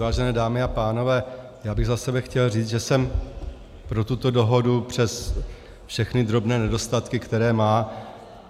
Vážené dámy a pánové, já bych za sebe chtěl říct, že jsem pro tuto dohodu přes všechny drobné nedostatky, které má.